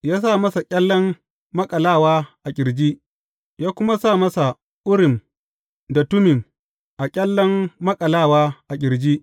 Ya sa masa ƙyallen maƙalawa a ƙirji, ya kuma sa Urim da Tummim a ƙyallen maƙalawa a ƙirjin.